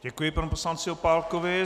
Děkuji panu poslanci Opálkovi.